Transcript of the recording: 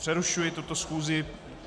Přerušuji tuto schůzi.